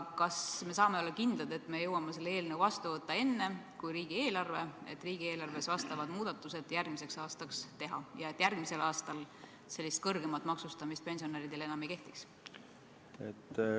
Kas me saame olla kindlad, et me jõuame selle eelnõu seadusena vastu võtta enne kui riigieelarve seaduse, et saaks riigieelarves järgmiseks aastaks muudatused teha ja et järgmisel aastal pensionäride selline kõrgem maksustamine enam ei kehtiks?